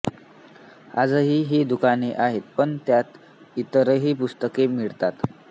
आजही ही दुकाने आहेत पण त्यांत इतरही पुस्तके मिळतात